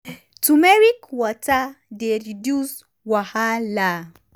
turmeric water dey reduce wahala.